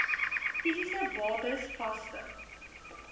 fisiese bates vaste